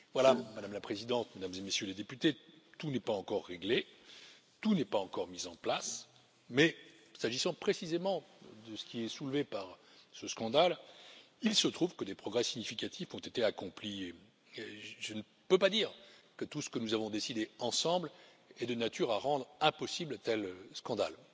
Voilà, Madame la Présidente, Mesdames et Messieurs les députés, tout n'est pas encore réglé, tout n'est pas encore mis en place, mais s'agissant précisément de ce qui est soulevé par ce scandale, il se trouve que des progrès significatifs ont été accomplis, même si je ne peux pas dire que tout ce que nous avons décidé ensemble est de nature à rendre impossible un tel scandale.